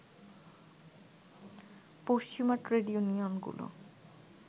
পশ্চিমা ট্রেড ইউনিয়নগুলো